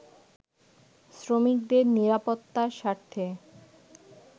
শ্রমিকদের নিরাপত্তার স্বার্থে